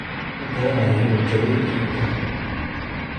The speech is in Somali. Ma garanayo inuu jabay iyo in kale.